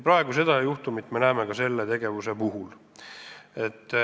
Praegu me näeme samasugust juhtumit ka selle tegevuse puhul.